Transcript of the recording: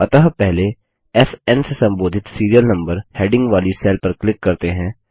अतः पहले स्न से संबोधित सीरियल नम्बर हैडिंग वाली सेल पर क्लिक करते हैं